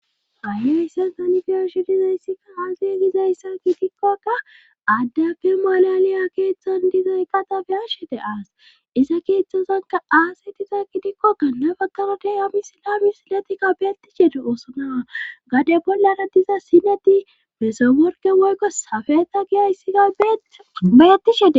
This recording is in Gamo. Haya yssa danfeoshi dizayssika haasiye giza issaki dikkokka aaddapfe malaliya keeththan dizay qatabe ashede aas isa keeththozanka aase tizakki dikkokka nabaqarate ami silami siletikka beetti shede oosonawa gade bollana diza sineti mesaworge woykko safeta giyayssiga beyetti shede.